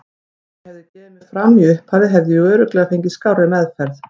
Ef ég hefði gefið mig fram í upphafi hefði ég örugglega fengið skárri meðferð.